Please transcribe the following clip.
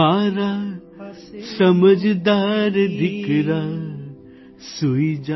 મારા સમજદાર દિકરા સૂઇ જા